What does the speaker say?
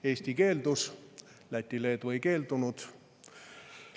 Eesti keeldus, aga Läti ja Leedu ei keeldunud.